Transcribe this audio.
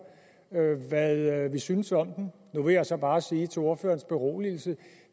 hvad vi synes om den nu vil jeg så bare sige til ordførerens beroligelse at